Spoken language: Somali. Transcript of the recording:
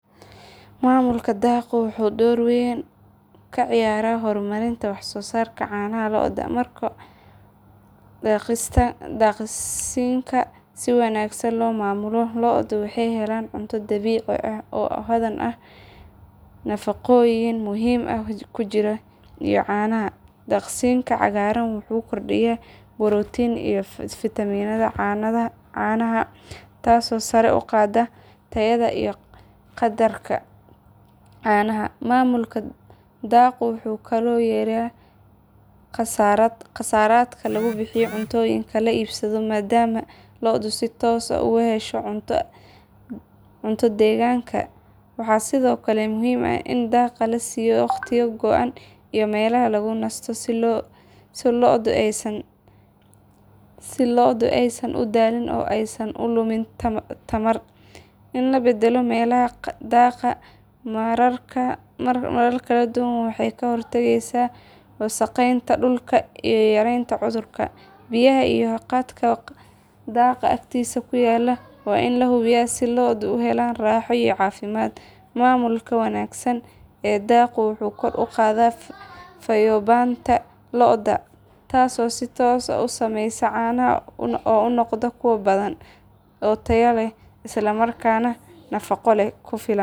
Maamulka daaqgu wuxuu door aad u weyn ka ciyaaraa horumarinta wax soo saarka caanaha lo'da. Marka daaqsinka si wanaagsan loo maamulo lo'du waxay helaan cunto dabiici ah oo hodan ku ah nafaqooyin muhiim u ah jirka iyo caanaha. Daaqsinka cagaaran wuxuu kordhiyaa borotiinka iyo fiitamiinada caanaha taasoo sare u qaadda tayada iyo qadarka caanaha. Maamulka daaqgu wuxuu kaloo yareeyaa kharashaadka lagu bixiyo cuntooyinka la iibsado maadaama lo'du si toos ah uga hesho cunto deegaanka. Waxaa sidoo kale muhiim ah in daaqa la siiyo waqtiyo go'an iyo meelaha lagu nasto si lo'du aysan u daalin oo aysan u lumin tamar. In la beddelo meelaha daaqa marar kala duwan waxay ka hortagtaa wasakheynta dhulka iyo yareynta cudurrada. Biyaha iyo hadhka daaqa agtiisa ku yaal waa in la hubiyaa si lo'du u helaan raaxo iyo caafimaad. Maamulka wanaagsan ee daaqgu wuxuu kor u qaadaa fayoobaanta lo'da, taasoo si toos ah u saameysa caanaha oo noqda kuwo badan, tayo leh isla markaana leh nafaqo ku filan.